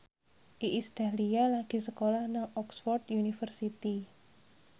Iis Dahlia lagi sekolah nang Oxford university